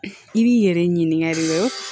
I b'i yɛrɛ ɲininka nin kɛ